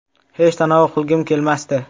Hech tanovul qilgim kelmasdi.